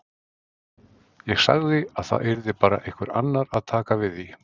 Ég sagði að það yrði bara einhver annar að taka við því.